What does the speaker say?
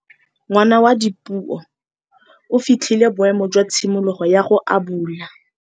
Ngwana wa Dipuo o fitlhile boêmô jwa tshimologô ya go abula.